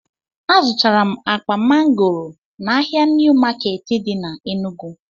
Azụtara m akpa mangoro n'ahịa niw maketi di na Enugu